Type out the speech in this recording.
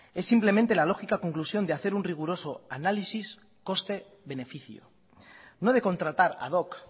es simplemente la lógica conclusión de hacer un riguroso análisis coste beneficio no de contratar ad hoc